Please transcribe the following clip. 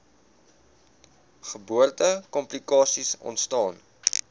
geboorte komplikasies ontstaan